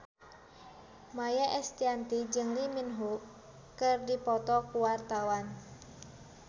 Maia Estianty jeung Lee Min Ho keur dipoto ku wartawan